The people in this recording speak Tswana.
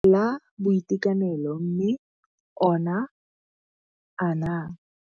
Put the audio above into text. La Boitekanelo mme ona a na.